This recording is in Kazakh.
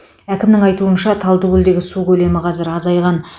әкімнің айтуынша талдыкөлдегі су көлемі қазір азайған